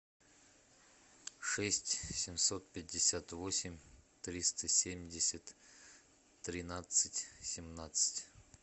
шесть семьсот пятьдесят восемь триста семьдесят тринадцать семнадцать